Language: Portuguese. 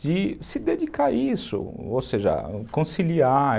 de se dedicar a isso, ou seja, conciliar.